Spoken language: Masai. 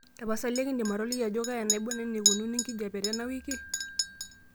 tapasali ekindim atoliki ajo kaa enaibon eneikununo enkijiape tenawiki